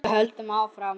Við höldum áfram.